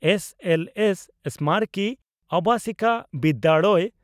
SLS ᱥᱢᱟᱨᱚᱠᱤ ᱟᱵᱟᱥᱤᱠᱚ ᱵᱤᱫᱭᱟᱲᱚᱭᱚ